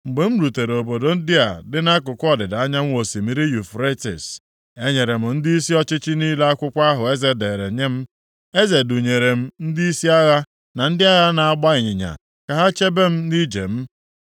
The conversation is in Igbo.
Mgbe m rutere obodo ndị a dị nʼakụkụ ọdịda anyanwụ osimiri Yufretis, enyere m ndịisi ọchịchị niile akwụkwọ ahụ eze dere nye m. Eze dunyere m ndịisi agha na ndị agha na-agba ịnyịnya ka ha chebe m nʼije m.